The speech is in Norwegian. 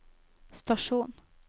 stasjon